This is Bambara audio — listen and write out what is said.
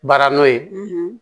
Baara n'o ye